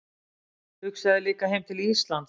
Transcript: Hugsaði líka heim til Íslands.